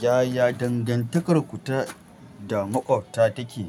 Yaya dangantakarku ta da maƙwabta take?